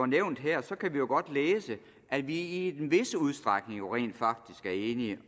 nævnt her kan vi jo godt læse at vi i en vis udstrækning jo rent faktisk er enige